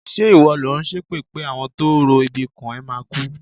Ṣé ìwọ lò ń ṣépè pé àwọn tó ń ro ibi kàn ẹ́ máa kú?